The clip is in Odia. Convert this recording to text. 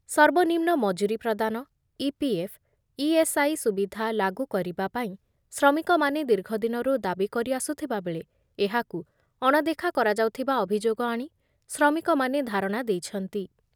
ସର୍ବନିମ୍ନ ମଜୁରୀ ପ୍ରଦାନ, ଇପିଏଫ୍, ଇଏସ୍‌ଆଇ ସୁବିଧା ଲାଗୁ କରିବା ପାଇଁ ଶ୍ରମିକମାନେ ଦୀର୍ଘଦିନରୁ ଦାବି କରି ଆସୁଥିବାବେଳେ ଏହାକୁ ଅଣଦେଖା କରାଯାଉଥିବା ଅଭିଯୋଗ ଆଣି ଶ୍ରମିକମାନେ ଧାରଣା ଦେଇଛନ୍ତି ।